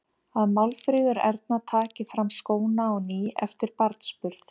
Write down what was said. Að Málfríður Erna taki fram skóna á ný eftir barnsburð.